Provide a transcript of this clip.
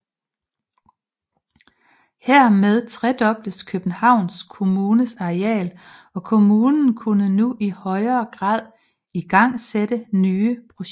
Hermed tredobledes Københavns Kommunes areal og kommunen kunne nu i højere grad igangsætte nye projekter